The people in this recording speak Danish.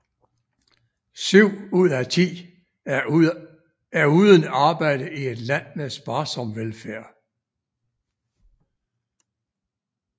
Syv ud af ti er uden arbejde i et land med sparsom velfærd